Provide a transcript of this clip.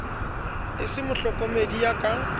e se mohlokomedi ya ka